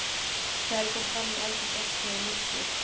Þegar ég kom fram í eldhús opnaði ég nistið.